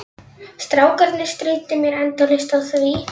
Strákarnir stríddu mér endalaust á því.